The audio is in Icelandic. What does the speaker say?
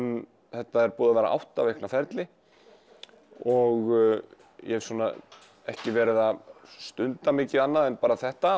þetta er búið að vera átta vikna ferli og ég hef ekki verið að stunda mikið annað en þetta